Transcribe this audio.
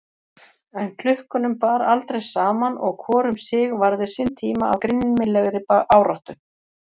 En klukkunum bar aldrei saman og hvor um sig varði sinn tíma af grimmilegri áráttu.